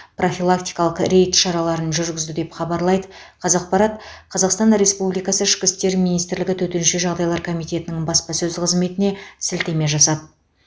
профилактикалық рейд шараларын жүргізді деп хабарлайды қазақпарат қазақстан республикасы ішкі істер министрлігі төтенше жағдайлар комитеті баспасөз қызметіне сілтеме жасап